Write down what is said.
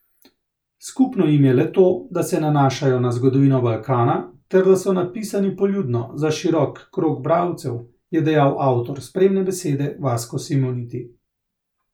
Skupno jim je le to, da se nanašajo na zgodovino Balkana ter da so napisani poljudno, za širok krog bralcev, je dejal avtor spremne besede Vasko Simoniti.